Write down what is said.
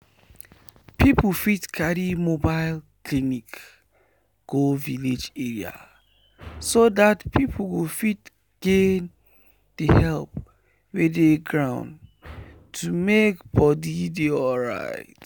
people fit carry mobile clinic go village area so that people go fit gain the help wey dey ground to make body dey alright